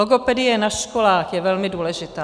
Logopedie na školách je velmi důležitá.